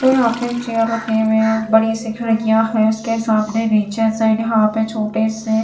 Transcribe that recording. जो यहाँ पे एक चेयर रखे हुए है बड़ी सी खिड़किया है उसके सामने नीचे से यहाँ पे छोटे से--